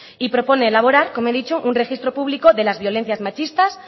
y propone elaborar como he dicho un registro público de las violencias machistas